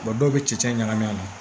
Wa dɔw bɛ cɛncɛn ɲagami a la